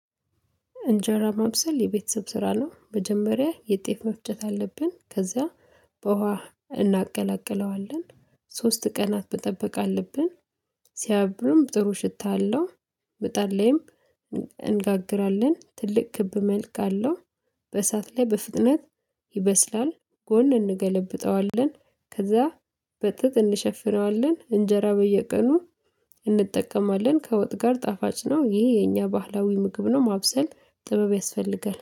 እንጀራ መብሰል የቤተሰብ ስራ ነው። መጀመሪያ የጤፍ መፍጨት አለብን ከዛ በውሃ እናቀላቅለዋለን ሶስት ቀናት መጠበቅ አለብን፣ ሲያብሩም ጥሩ ሽታ አለው ምጣድ ላይም እንጋግራለን። ትልቅ ክብ መልክ አለው በእሳት ላይ በፍጥነት ይበስላል ጎን እንገለብጠዋለን፣ ከዛ በጥጥ እንሸፍረዋለን፣ እንጀራ በየቀኑ እንጠቀማለን፣ ከወጥ ጋር ጣፋጭ ነው ይሄ የኛ ባህላዊ ምግብ ነው ማብሰል ጥበብ ያስፈልጋል።